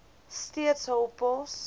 steeds hul pos